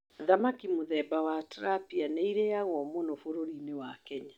Thamaki mũthemba wa tirapia nĩ ĩrĩagwo mũno bũrũrinĩ wa kenya